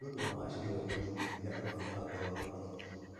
Ũthundũri wa macini ĩo nĩũgũteithia arwaru a ngoro mũno